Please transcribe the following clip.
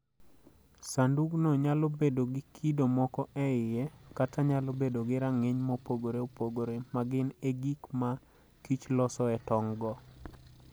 Sandugno nyalo bedo gi kido moko e iye, kata nyalo bedo gi rang'iny mopogore opogore, ma gin e gik ma kich losoe tong'go.